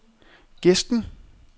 Gesten